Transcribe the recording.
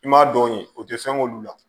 I m'a dɔn o tɛ fɛn k'olu la